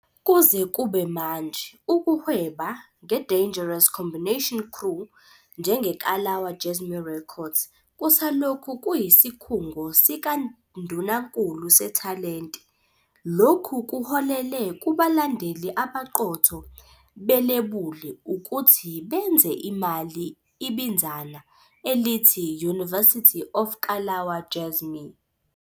Kuze kube manje, ukuhweba ngeDangerous Combination Crew njengeKalawa Jazmee Records kusalokhu kuyisikhungo sikandunankulu sethalente. Lokhu kuholele kubalandeli abaqotho belebuli ukuthi benze imali ibinzana elithi University Of Kalawa Jazmee.